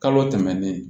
Kalo tɛmɛnen